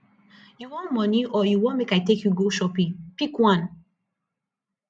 you wan money or you want make i take you go shopping pick one